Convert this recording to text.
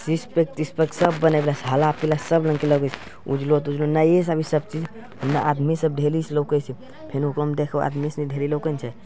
Six pack - तिक्स pack सब बनेले छै हरा-पीला सब रंग के लगे छै उजलो-तुजलो नये ई सब चीज इने आदमी सब लोके छै फेन उपरो में देखा आदमी सब ढेरी लोकन छै।